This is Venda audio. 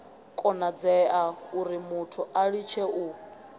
konadzea urimuthu a litshe u